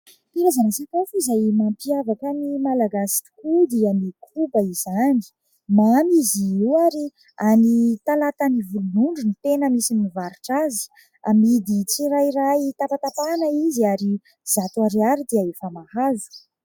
Karazana sakafo izay mampiavaka ny Malagasy tokoa dia ny koba izany, mamy izy io ary any Talatanivolonondry no tena misy mivarotra azy. Amidy tsirairay tapatapahana izy ary zato ariary dia efa mahazo.